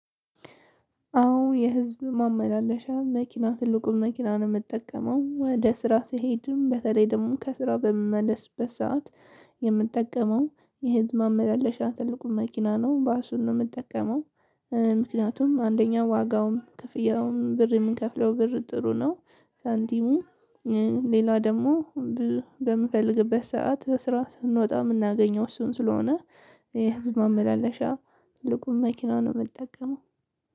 አዎ የህዝብ ማመላለሻ መኪና ትልቁን መኪና ነው የምጠቀመው ወደ ስራ ስሄድም በተለይ ደግሞ ከስራው በምመለስበት ሰዓት የምጠቀመው የህዝብ ማመላለሻ ትልቁን መኪና ነው ባሱን ነው የምጠቀመው። ምክንያቱም አንደኛው ዋጋውም ክፍያውም ብር የምንከፍለው ብር ጥሩ ነው። ሳንቲሙ ሌላ ደግሞ በምፈልግበት ሰዓት ስራ ስንወጣ የምናገኘው እሱን ስለሆነ። የህዝብ ማመላለሻ ትልቁን መኪና ነው የምጠቀመው።